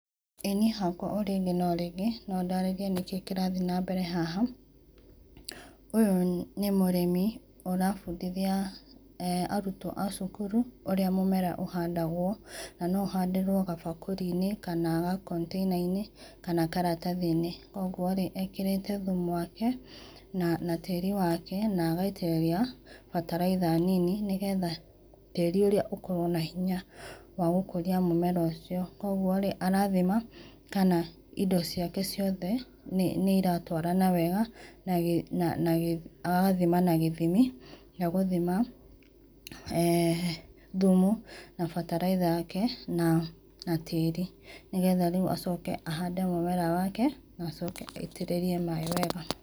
Ĩĩ niĩ hakwa o rĩngĩ o rĩngĩ no ndaraĩrie nĩkĩ kĩrathĩe na mbere haha ũyũ nĩ mũrĩmi ũrabũndĩthĩa arũtwo a cũkũrũ ũrĩa mũmera ũhandagwo, na nũ ũhandĩrwo gabakũrĩ inĩ kana ga container inĩ kana karatathĩ inĩ kwogwo ekerete thũmũ wake na tĩri wake na agaitĩrĩra bataraitha nĩnĩ nĩgetha tĩritarĩ ũrĩa ũkorwo wĩna hĩnya wa gũkũrĩa mũmera ũcio, kwogo arathĩma kana ĩndo ciake ciothe nĩiratwarana wega na agathĩma na gĩthĩmĩ gĩa gũthĩma[eeh] thũmũ na bataraitha yake na tĩri nĩgetha rĩũ acoke ahande mũmera wake na acoke aĩtirĩrĩe maĩ wega.